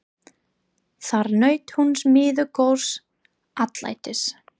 Þar naut hún miður góðs atlætis.